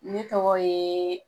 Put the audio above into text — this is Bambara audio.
Ne tɔgɔ ye